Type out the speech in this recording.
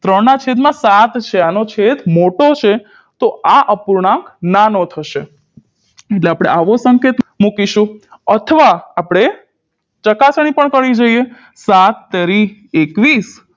ત્રણ ના છેદ માં સાત છે આનો છેદ મોટો છે તો આ અપૂર્ણાંક નાનો થશે એટલે આપણે આવો સંકેત મૂકીશું અથવા આપણે ચકાસણી પણ કરવી જોઈએ સાતતેરી એકવીશ